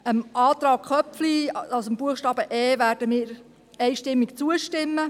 Dem Antrag Köpfli, also dem Buchstaben e, werden wir einstimmig zustimmen.